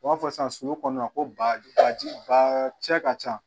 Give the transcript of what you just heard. U b'a fɔ sisan sulu kɔnɔna ko baji bakaji ba cɛ ka ca